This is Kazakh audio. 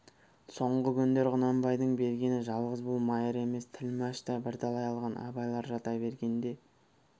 соңғы күндер құнанбайдың бергені жалғыз бұл майыр емес тілмәш та бірталай алған абайлар жата бергенде